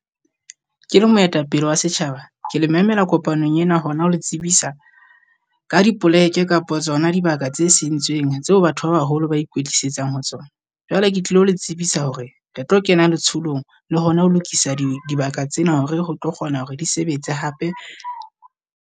Ke le moetapele wa setjhaba ke le memela kopanong ena hona ho le tsebisa ka dipoleke kapa tsona dibaka tse sentseeng, tseo batho ba baholo ba ikwetlisetsang ho tsona. Jwale ke tlilo le tsebisa hore re tlo kena letsholong le hona ho lokisa di dibaka tsena hore ro tlo kgona hore di sebetse hape.